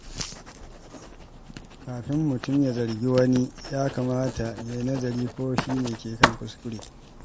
Kafin mutum ya zargi wani, ya kamata ya yi nazari ko shi ne ke kan kuskure.